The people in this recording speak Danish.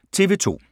TV 2